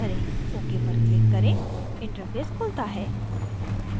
ok पर click करें interface खुलता है